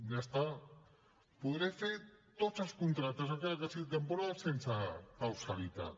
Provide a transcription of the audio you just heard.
bé ja està podré fer tots els contractes encara que siguin temporals sense causalitat